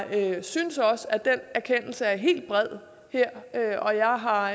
jeg synes også at den erkendelse er helt bred her og jeg har